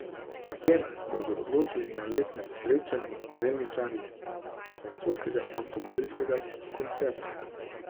O tem bodo odločali na letnem srečanju z delničarji francoskega avtomobilskega koncerna.